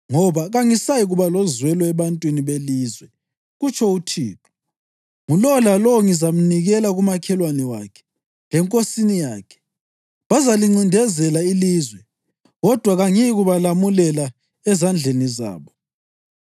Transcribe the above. Ngoba kangisayikuba lozwelo ebantwini belizwe,” kutsho uThixo. “Ngulowo lalowo ngizamnikela kumakhelwane wakhe lenkosini yakhe. Bazalincindezela ilizwe, kodwa kangiyikubalamulela ezandleni zabo.”